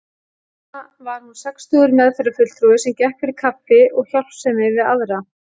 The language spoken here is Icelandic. Núna var hún sextugur meðferðarfulltrúi sem gekk fyrir kaffi og hjálpsemi við aðra.